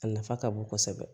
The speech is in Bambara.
A nafa ka bon kosɛbɛ